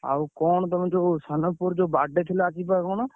ଆଉ କଣ ତମେ ଯୋଉ ସାନପୁଅର ଯୋଉ birthday ଥିଲା ଆଜି ବା କଣ?